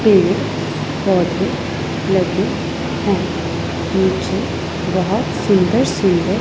पेड़ पौधे लगे हैं नीचे बहुत सुंदर सुंदर--